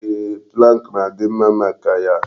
Eeh, pụlank na-adị mma maka ya.